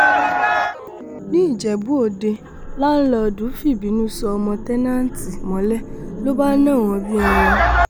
níjẹ̀bú òde láńlọọ̀dù fìbínú so ọmọ tẹ́nàntì mọ́lẹ̀ ló bá ń nà wọ́n bíi ẹran